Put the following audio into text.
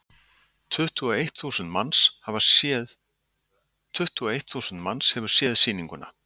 Tuttugu og eitt þúsund manns hefur séð sýninguna.